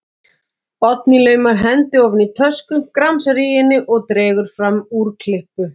Oddný laumar hendi ofan í tösku, gramsar í henni og dregur fram úrklippu.